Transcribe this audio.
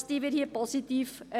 Das würdigen wir positiv.